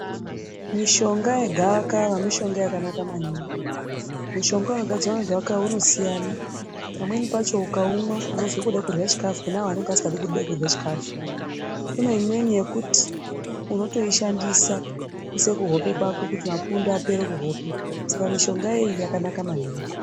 Mishonga yegavakava mishonga yakabanaka maningi, mushonga unogadzirw ngegavakava unosiyana pamweni pacho ukaumwa unozwa kuda kurya chikafu kune avo vanenge vasikadi kurye chikafu, kune imweni yekuti unotoishandisa kuisa kuhope kwako kuti mapundu apere kuhope saka mishonga iyi yakanaka maningi.